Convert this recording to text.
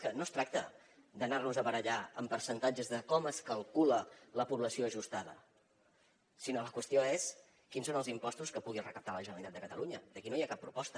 és que no es tracta d’anar nos a barallar amb percentatges de com es calcula la població ajustada sinó que la qüestió és quins són els impostos que pugui recaptar la generalitat de catalunya i aquí no hi ha cap proposta